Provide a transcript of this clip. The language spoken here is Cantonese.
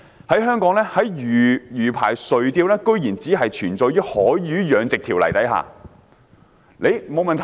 在香港，在魚排垂釣居然只是存在於《海魚養殖條例》的條文。